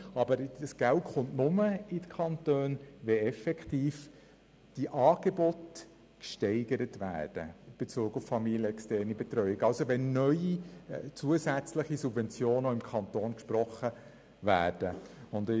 Aber das Geld kommt nur in die Kantone, wenn die Angebote in Bezug auf familienexterne Betreuung effektiv gesteigert werden, also wenn auch der Kanton neue, zusätzliche Subventionen spricht.